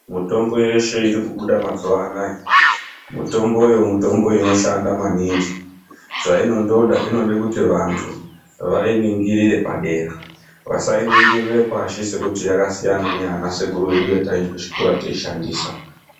Mutombo yeshe iri kubuda mazuva anaya mutombo yemutombo inoshanda maningi zvainondoda inode kuti vandu vainingirire padera vasainingire pashi sekuti yakasiyana neyana sekuru vedu yatai ende kuchikora teishandisa.